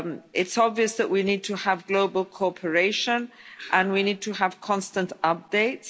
is. It's obvious that we need to have global cooperation and we need to have constant updates.